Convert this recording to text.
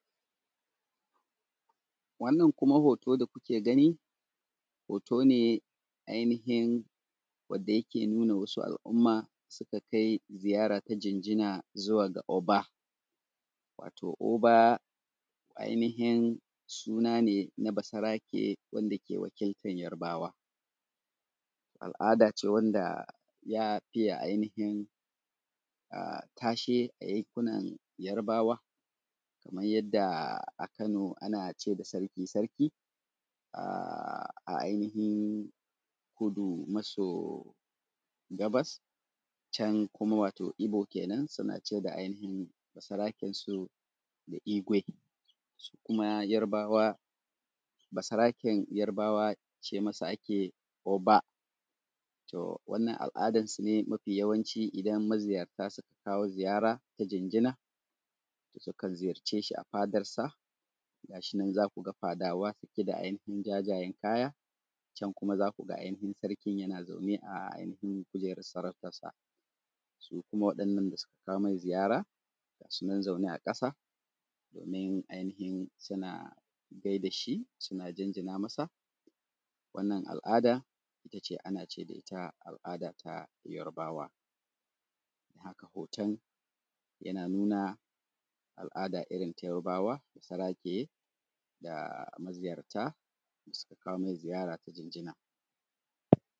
wannan kuma hoto da kuke gani hoto ne wanda yake nuna wasu al’umma da suka kai ziyara ga oba, wato oba suna ne na basarake wanda ke wakiltan Yarbawa al’adace wanda za a iya tashe a yankunan Yarbawa. kaman yadda a Kano ana ce da sarki, sarki. a kudu maso gabas yankin Inyamurai kenan, can kuma wato Ibo kenan, ana ce da ainihin basaraken su igwe. su kuma Yarbawa basaraken Yarbawa ce masa ake yi oba. to wannan al’ada nasu dai mafi yawanci dan maziyarta sun kawo ziyara na jinjina, to sukan ziyar ce shi a fadansa. gashinan za ku ga fadawa da jajayen kaya, can kuma zaku ga sarkin yana zaune a kujerar sarautarsa. su kuma waɗanda suka kawo mai ziyara ga su nan zaune a ƙasa domin suna gaida shi suna jinjina masa. wannan al’ada ita ce a na ce mata al’adatah Yarbawa. haka hoton yake nuna al’ada irin ta Yarbawa ta basarake da maziyarta sun kawo mai ziyara ta jinjina.